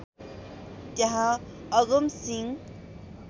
त्यहाँ अगमसिंह